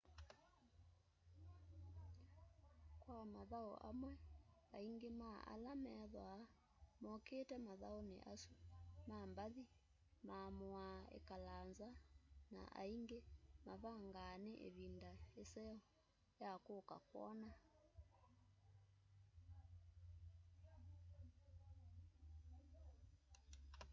kwa mathau amwe aingi ma ala methwaa mokite mathauni asu ma mbathi maamuaa ikala nza na aingi mavangaa ni ivinda iseo ya kuka kwona